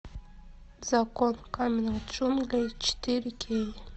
закон каменных джунглей четыре кей